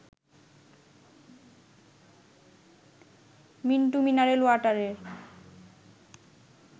Mintu mineral ওয়াটারের